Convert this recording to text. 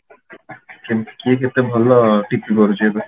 ସେମିତି କିଏ କେତେ ଭଲ ଟିପି ପାରୁଛି ଏବେ